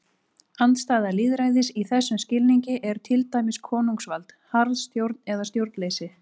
Andstæða lýðræðis í þessum skilningi er til dæmis konungsvald, harðstjórn eða stjórnleysi.